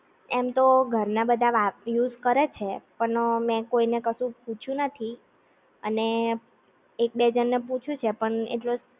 એમ તો ઘર ના બધા વાપ, યુઝ કરે છે પણઅ મે કોઈ ને કશું પૂછ્યું નથી અને એક બે જણ ને પૂછ્યું છે પણ આટલો